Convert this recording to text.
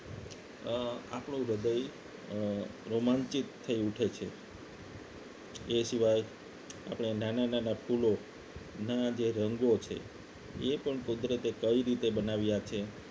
અ આપણું હૃદય રોમાંચિત થઈ ઉઠે છે એ સિવાય આપણે નાના નાના ફૂલો ના જે રંગો છે એ પણ કુદરતે કઈ રીતે બનાવ્યા છે